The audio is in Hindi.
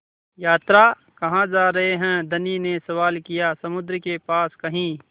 यात्रा कहाँ जा रहे हैं धनी ने सवाल किया समुद्र के पास कहीं